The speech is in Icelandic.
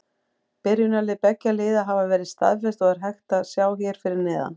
Byrjunarlið beggja liða hafa verið staðfest og er hægt að sjá hér fyrir neðan.